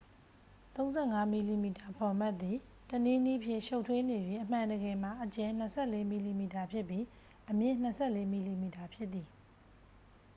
35 မီလီမီတာဖော်မတ်သည် တစ်နည်းနည်းဖြင့် ရှုပ်ထွေးနေ၍ အမှန်တကယ်မှာ အကျယ် 24 မီလီမီတာဖြစ်ပြီး အမြင့် 24 မီလီမီတာဖြစ်သည်